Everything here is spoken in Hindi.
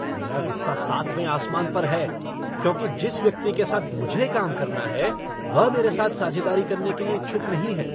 मेरा गुस्सा सातवें आसमान पर है क्योंकि जिस व्यक्ति के साथ मुझे काम करना है वह मेरे साथ साझेदारी करने के लिए इच्छुक नहीं है।